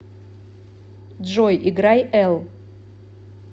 джой играй эл